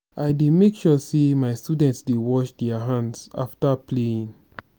i dey make sure sey my students dey wash their hands afta playing.